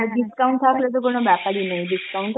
আর discount থাকলে তো কোন ব্যাপারই নেই, discount